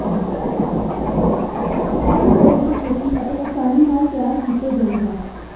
ਇਹ ਕਟੋਰੇ ਛੇਤੀ ਅਤੇ ਆਸਾਨੀ ਨਾਲ ਤਿਆਰ ਕੀਤਾ ਗਿਆ ਹੈ